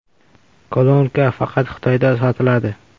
Kolonka faqat Xitoyda sotiladi.